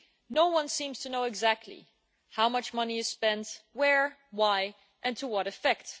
No one seems to know exactly how much money is spent, where, why and to what effect.